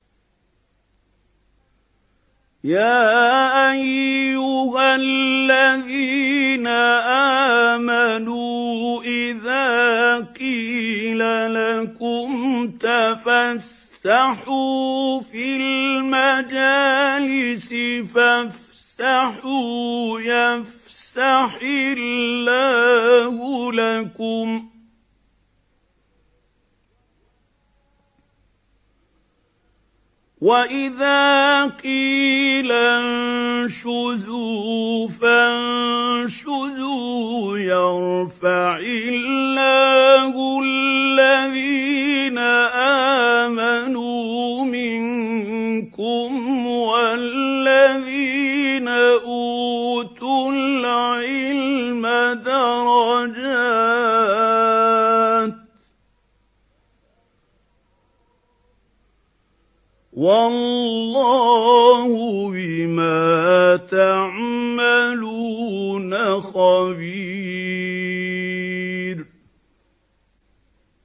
يَا أَيُّهَا الَّذِينَ آمَنُوا إِذَا قِيلَ لَكُمْ تَفَسَّحُوا فِي الْمَجَالِسِ فَافْسَحُوا يَفْسَحِ اللَّهُ لَكُمْ ۖ وَإِذَا قِيلَ انشُزُوا فَانشُزُوا يَرْفَعِ اللَّهُ الَّذِينَ آمَنُوا مِنكُمْ وَالَّذِينَ أُوتُوا الْعِلْمَ دَرَجَاتٍ ۚ وَاللَّهُ بِمَا تَعْمَلُونَ خَبِيرٌ